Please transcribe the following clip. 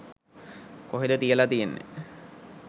කොහෙද කියල තියෙන්නෙ?